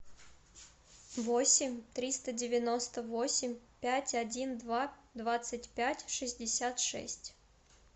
восемь триста девяносто восемь пять один два двадцать пять шестьдесят шесть